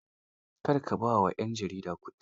Kar ka ba wa 'yan jaridar kuɗi.